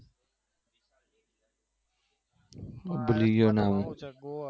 ભૂલી ગયો નામ